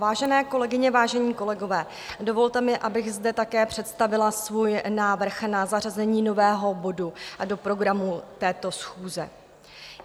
Vážené kolegyně, vážení kolegové, dovolte mi, abych zde také představila svůj návrh na zařazení nového bodu do programu této schůze.